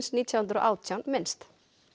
nítján hundruð og átján minnst